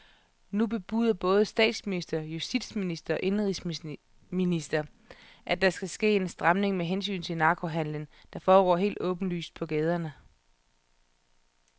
Nu bebuder både statsminister, justitsminister og indenrigsminister, at der skal ske en stramning med hensyn til narkohandelen, der foregår helt åbenlyst på gaderne.